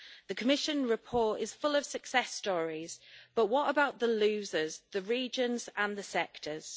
The Commission report is full of success stories, but what about the losers the regions and the sectors?